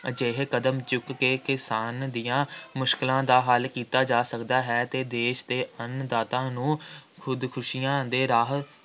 ਅਜਿਹੇ ਕਦਮ ਚੁੱਕ ਕੇ ਕਿਸਾਨ ਦੀਆਂ ਮੁਸ਼ਕਿਲਾਂ ਦਾ ਹੱਲ ਕੀਤਾ ਜਾ ਸਕਦਾ ਹੈ ਅਤੇ ਦੇਸ਼ ਦੇ ਅੰਨ-ਦਾਤਾ ਨੂੰ ਖੁਦਕੁਸ਼ੀਆਂ ਦੇ ਰਾਹ